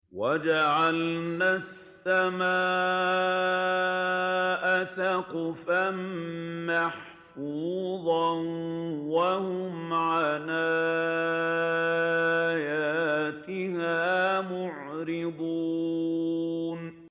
وَجَعَلْنَا السَّمَاءَ سَقْفًا مَّحْفُوظًا ۖ وَهُمْ عَنْ آيَاتِهَا مُعْرِضُونَ